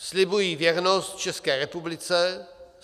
"Slibuji věrnost České republice.